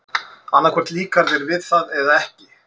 Annað hvort líkar þér við það eða ekki.